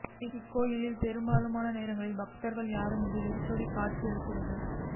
இக் கோயில் பெரும்பாலான நேரங்களில் பக்தா்கள் யாருமின்றி வெறிச்சோடி காட்சியளிக்கிறது